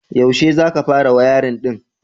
Yaushe za ka fara wayarin ɗin?